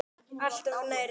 Alltof nærri.